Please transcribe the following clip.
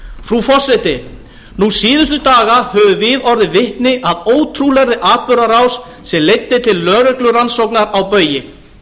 frú forseti nú síðustu daga höfum við orðið vitni að ótrúlegri atburðarás sem leiddi til lögreglurannsóknar á baugi